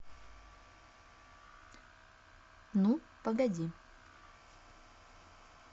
ну погоди